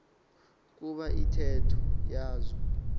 kuba intetho yazo